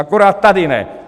Akorát tady ne.